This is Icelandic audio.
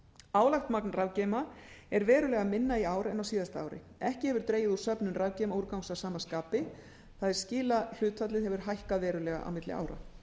álagt magn rafgeyma er verulega minna í ár en á síðasta ári ekki hefur dregið úr söfnun rafgeymaúrgangs af sama skapi það er skilahlutfallið hefur hækkað verulega á milli ára